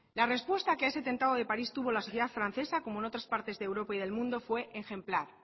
la respuesta que a ese atentado de parís tuvo la sociedad francesa como en otras partes de europa y del mundo fue ejemplar